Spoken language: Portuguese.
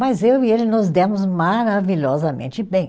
Mas eu e ele nos demos maravilhosamente bem.